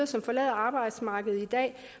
som forlader arbejdsmarkedet i dag